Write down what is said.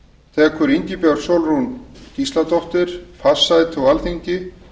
tekur ingibjörg sólrún gísladóttir fast sæti á alþingi